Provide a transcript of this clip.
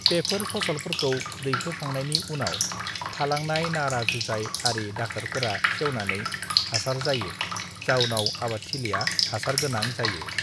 बेफोर फसलफोरखौ दैखो खांनायनि उनाव थालांनाय नारा जुजाइ आरि दाखाफोरा सेवनानै हासार जायो जाउनाव आबादथिलिया हासार गोनां जायो